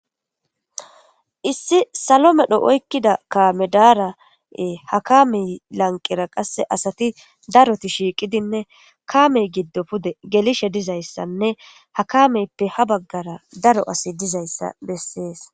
Issi sallo medhdho oykkida kaame dara ha kaamey lanqqera qaseka asati daroti shiqqidinne kaamey giddo pude gellishe dizayssane ha kaameyippe hano baggera daaro asay diizayssa beses.